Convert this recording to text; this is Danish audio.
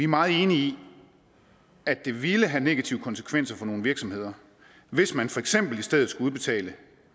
meget enige i at det ville have negative konsekvenser for nogle virksomheder hvis man for eksempel i stedet skulle udbetale